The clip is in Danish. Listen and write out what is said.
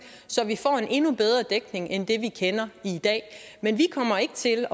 så vi får en endnu bedre dækning end det vi kender i dag men vi kommer ikke til